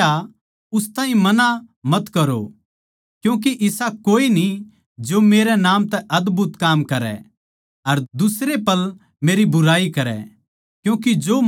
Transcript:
उसनै कह्या उस ताहीं मना मत करो क्यूँके इसा कोए न्ही जो मेरै नाम तै अदभुत काम करै अर दुसरे पल मेरी बुराई करै